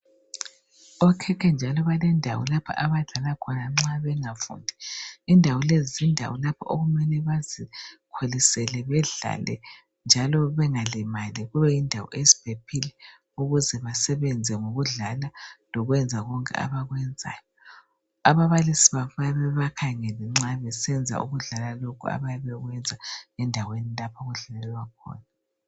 Okhekhe njalo balendawo lapha abadlala khona nxa bengafundi. Indawo lezi zindawo lapho okumele bazikholisele bedlale njalo bengalimali, kube yindawo eziphephile ukuze basebenze ngokudlala lokwenza konke abakwenzayo. Ababalisi babo bayabe bebakhangele nxa besenza ukudlala lokho abayabe bekwenza endaweni lapho okudlalelwa khona.